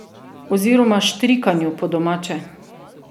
Oziroma štrikanju, po domače.